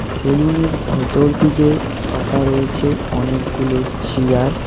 সেলুনের ভেতর দিকে পাতা রয়েছে অনেক গুলো চেয়ার ।